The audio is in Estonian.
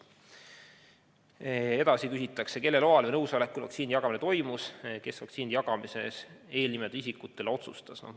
Edasi küsitakse, kelle loal ja nõusolekul vaktsiini jagamine toimus ja kes otsustas vaktsiini jagada eelnimetatud isikutele.